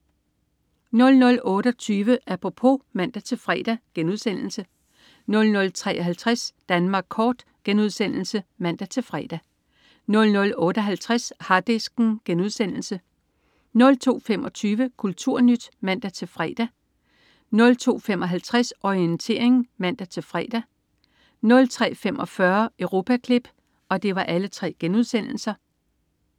00.28 Apropos* (man-fre) 00.53 Danmark kort* (man-fre) 00.58 Harddisken* 02.25 KulturNyt* (man-fre) 02.55 Orientering* (man-fre) 03.45 Europaklip*